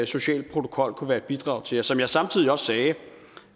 social protokol kunne være et bidrag til og som jeg samtidig også sagde